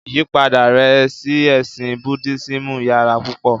Ìyipada rẹ̀ sí ẹ̀sìn Buddhismù yàrà púpọ.